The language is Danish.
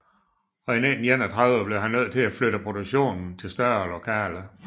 Og i 1931 blev han nødt til at flytte produktionen til større lokaler